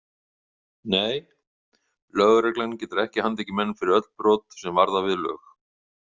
Nei, lögreglan getur ekki handtekið menn fyrir öll brot sem varða við lög.